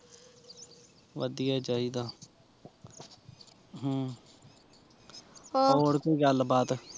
ਵਧੀਆ ਚਾਹੀਦਾ ਹਮ ਹੋਰ ਕੋਈ ਗੱਲ ਬਾਤ